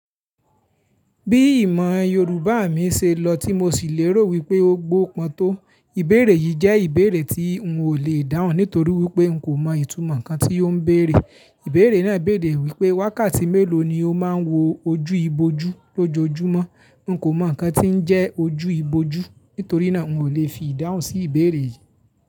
Bí ìmọ̀ Yorùbá mi ṣe lọ tí mo sì lérò wípé ó gbó pọn tó, ìbéèrè yìí jẹ́ ìbéèrè tí n ò lè dáhùn nítorí wípé n kò mọ ìtumọ̀ nǹkan tí ó ń béèrè. Ìbéèrè náà béèrè wípé wákàtí mélòó ni ó máa ń wo ojú ibojú lójoojúmọ́. N kò mọ nǹkan tí ń jẹ́ ojú ibojú, nítorí náà n kò lè fi ìdáhùn sí ìbéèrè yìí.